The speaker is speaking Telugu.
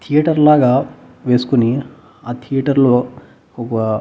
థియేటర్ లాగా వేసుకుని ఆ థియేటర్లో ఒక--